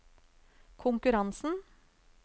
konkurransen